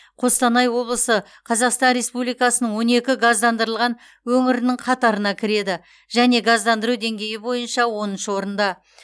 қостанай облысы қазақстан республикасының он екі газдандырылған өңірінің қатарына кіреді және газдандыру деңгейі бойынша оныншы орында